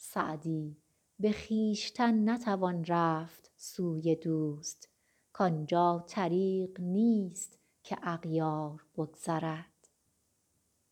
سعدی به خویشتن نتوان رفت سوی دوست کان جا طریق نیست که اغیار بگذرد